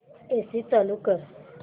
AC चालू कर